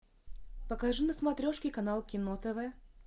покажи на смотрешке канал кино тв